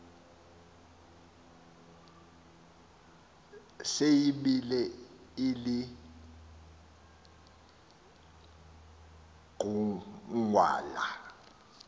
se yibile ilinqugwala